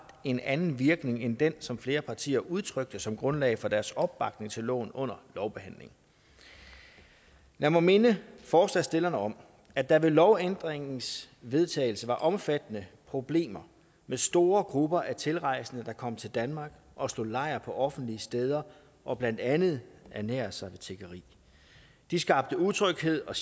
en anden virkning end den som flere partier udtrykte som grundlag for deres opbakning til loven under lovbehandlingen lad mig minde forslagsstillerne om at der ved lovændringens vedtagelse var omfattende problemer med store grupper af tilrejsende der kom til danmark og slog lejr på offentlige steder og blandt andet ernærede sig ved tiggeri de skabte utryghed og